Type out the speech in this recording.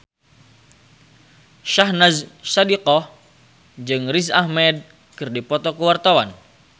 Syahnaz Sadiqah jeung Riz Ahmed keur dipoto ku wartawan